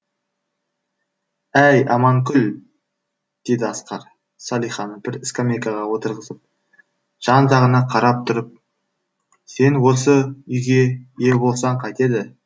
әй аманкүл деді асқар салиханы бір скамейкаға отырғызып жан жағына қарап тұрып сен осы үйге ие болсаң қайтеді